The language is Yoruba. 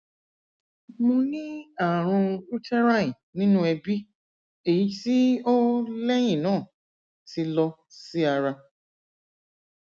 mo ni aarun uterine ninu ẹbi eyiti o lẹhinna ti lọ si ara